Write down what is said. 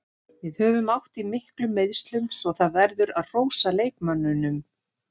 Við höfum átt í miklum meiðslum svo það verður að hrósa leikmönnunum.